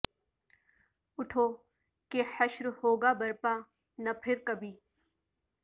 اٹھو کہ حشر ہو گا برپا نہ پھر کبھی